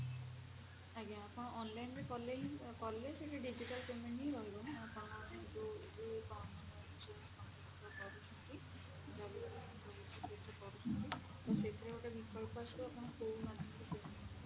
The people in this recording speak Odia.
payment ପଇସା ଦବା ପାଇଁ ଚାହୁଁଛନ୍ତି ଆଜ୍ଞା ଆପଣ online ରେ କଲେ ହିଁ କଲେ ସେଟା digital payment ହିଁ ରହିବ ଆପଣ ଯଉ ଯଉ ମାନେ ଯଉ company ରେ କରୁଛନ୍ତି ତ ସେଥିରେ ଗୋଟେ ବିକଳ୍ପ ଆସିବ ଆପଣ କଉ ମାଧ୍ୟମରେ